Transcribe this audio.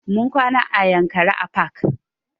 Mun kwana a yankari park